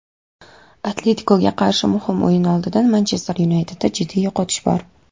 "Atletiko"ga qarshi muhim o‘yin oldidan "Manchester Yunayted"da jiddiy yo‘qotish bor;.